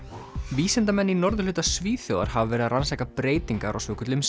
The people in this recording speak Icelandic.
vísindamenn í norðurhluta Svíþjóðar hafa verið að rannsaka breytingar á svokölluðum